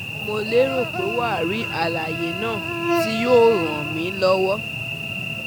Mo lérò pé wà á rí àlàyé náà tí yóò ràn mí lọ́wọ́